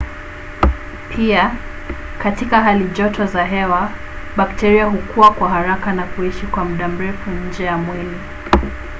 pia katika hali joto za hewa bakteria hukua kwa haraka na kuishi kwa muda mrefu nje ya mwili